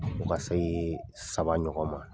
Fɔ ka se saba ɲɔgɔn ma.